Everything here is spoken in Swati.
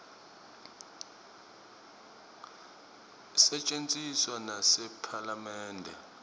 isetjentiswa nasephalamende